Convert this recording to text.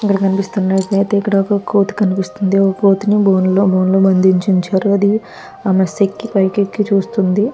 ఇక్కడ కనిపిస్తున్నది అయితే ఇక్కడ ఒక్క కోతి కనిపిస్తుంది. ఓ కోతిని బోన్లో బంధించి ఉంచారు. ఆది ఆ మెస్ ఎక్కి పైకి ఎక్కి చూస్తుంది.